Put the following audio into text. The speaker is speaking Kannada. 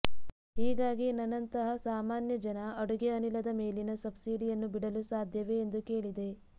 ಹೀಗಾಗಿ ನನಂತಹ ಸಾಮಾನ್ಯ ಜನ ಅಡುಗೆ ಅನಿಲದ ಮೇಲಿನ ಸಬ್ಸಿಡಿಯನ್ನು ಬಿಡಲು ಸಾಧ್ಯವೇ ಎಂದು ಕೇಳಿದೆ